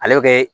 Ale bɛ kɛ